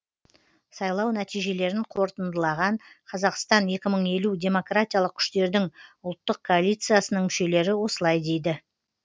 сайлау нәтижелерін қорытындылаған қазақстан екі мың елу демократиялық күштердің ұлттық коалициясының мүшелері осылай дейді